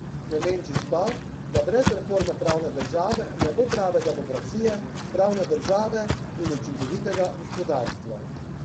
Klemenčič pa, da brez reforme pravne države ne bo prave demokracije, pravne države in učinkovitega gospodarstva.